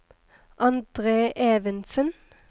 Andre Evensen